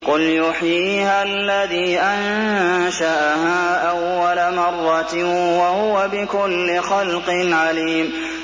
قُلْ يُحْيِيهَا الَّذِي أَنشَأَهَا أَوَّلَ مَرَّةٍ ۖ وَهُوَ بِكُلِّ خَلْقٍ عَلِيمٌ